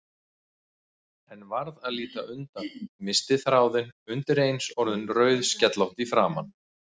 En varð að líta undan, missti þráðinn, undireins orðin rauðskellótt í framan.